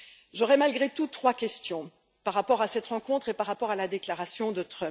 J'aurai, malgré tout, trois questions, par rapport à cette rencontre et par rapport à la déclaration de M.